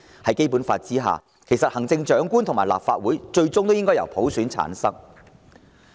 在《基本法》下，行政長官和立法會最終也應由普選產生。